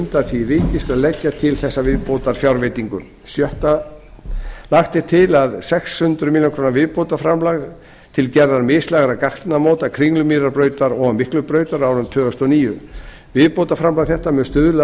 undan því vikist að leggja til þessa viðbótarfjárveitingu sjötta lagt er til sex hundruð milljóna króna viðbótarframlag til gerðar mislægra gatnamóta kringlumýrarbrautar og miklubrautar á árinu tvö þúsund og níu viðbótarframlag þetta mun stuðla að